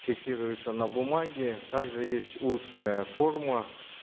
фиксируются на бумаге также есть устная форма